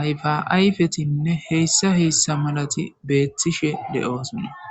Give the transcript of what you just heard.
ayfaayfetinne heyssa heyssa malati beettishe le7oosonna